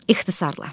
İxtisarilə.